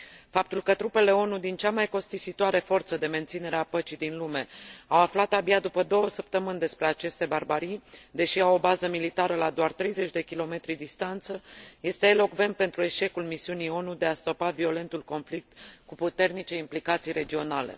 Faptul că trupele ONU din cea mai costisitoare forță de menținere a păcii din lume au aflat abia după două săptămâni despre aceste barbarii, deși au o bază militară la doar 30 de kilometri distanță, este elocvent despre eșecul misiunii ONU de a stopa violentul conflict cu puternice implicații regionale.